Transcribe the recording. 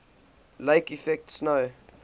lake effect snow